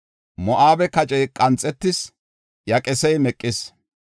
Moo7abe kacey qanxetis; iya qesey meqis.”